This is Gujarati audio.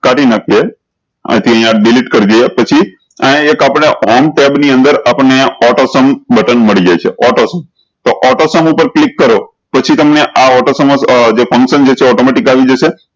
કાઢી નાખ્યે અયી થી અયીયા delete કરી દિયે પછી અયી એક આપળે ની અંદર આપણ ને auto sum બટન મળી જશે auto sum તો auto sum ક્લિક કરો પછી તમને auto sum જે function જે છે automatic આવી જશે